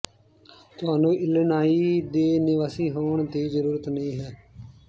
ਤੁਹਾਨੂੰ ਇਲੀਨਾਇ ਦੇ ਨਿਵਾਸੀ ਹੋਣ ਦੀ ਜ਼ਰੂਰਤ ਨਹੀਂ ਹੈ